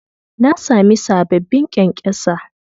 Na sami sababbin ƙyankyasa